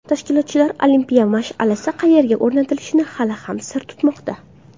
Tashkilotchilar olimpiya mash’alasi qayerga o‘rnatilishini hali ham sir tutmoqda.